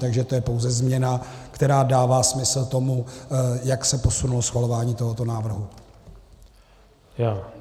Takže to je pouze změna, která dává smysl tomu, jak se posunulo schvalování tohoto návrhu.